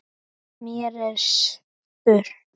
Mér er spurn!